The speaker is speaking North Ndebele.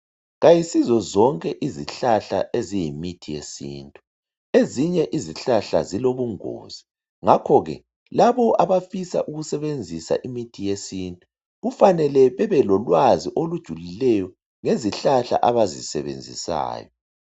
Kayisizo zonke izihlahla eziyimithi yesintu, ezinye izihlahla zilobungozi ngakho ke laba abafisa ukusebenzisa imithi yesintu kufanele bebelolwazi olujulileyo ngezihlahla abazisebenzisayo.